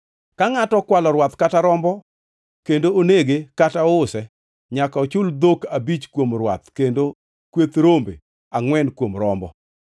“Ka ngʼato okwalo rwath kata rombo kendo onege kata ouse, nyaka ochul dhok abich kuom rwath kendo kweth rombe angʼwen kuom rombo.